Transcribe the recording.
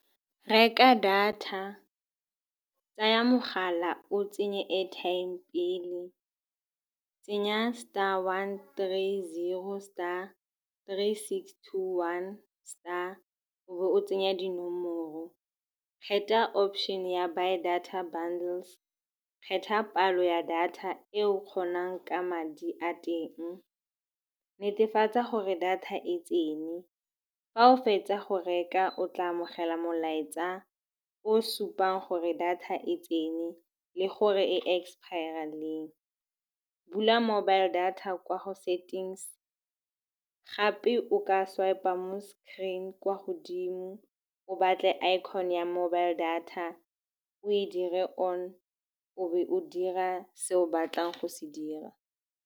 Reka data, tsaya mogala o tsenye airtime pele. Tsenya star one three zero star three six two one star, o be o tsenya dinomoro. Kgetha option ya buy data bundles, kgetha palo ya data e o kgonang ka madi a teng, netefatsa gore data e tsene. Fa o fetsa go reka o tla amogela molaetsa o supang gore data e tsene le gore e expire-a leng. Bula mobile data kwa go settings gape o ka swipe-a mo screen kwa godimo, o batle icon ya mobile data, o e dire on. O be o dira se o batlang go se dira.